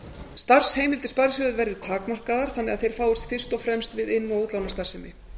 starfsheimildir sparisjóða verði takmarkaðar þannig að þeir fáist fyrst og fremst við inn og útlánastarfsemi